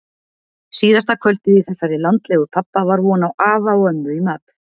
Síðasta kvöldið í þessari landlegu pabba var von á afa og ömmu í mat.